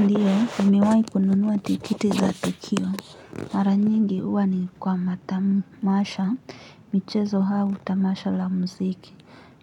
Ndio, nimewai kununua tikiti za tukio. Mara nyingi huwa ni kwa matamasha, michezo au tamasha la mziki.